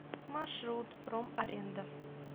маршрут промаренда